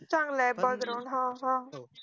चांगलं ये हा हा